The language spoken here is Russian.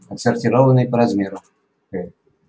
отсортированные по размеру